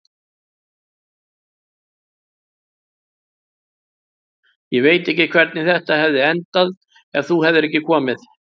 Ég veit ekki hvernig þetta hefði endað ef þú hefðir ekki komið.